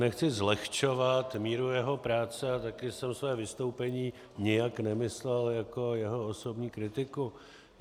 Nechci zlehčovat míru jeho práce a taky jsem své vystoupení nijak nemyslel jako jeho osobní kritiku.